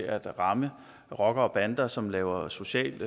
at ramme rockere og bander som laver socialt